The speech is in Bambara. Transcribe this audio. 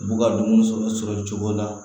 U b'u ka dumuniw sɔrɔ sɔrɔ cogo la